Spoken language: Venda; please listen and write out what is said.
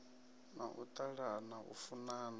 na u ṱalana u funana